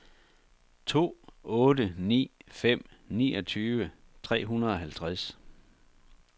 to otte ni fem niogtyve tre hundrede og halvtreds